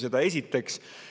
Seda esiteks.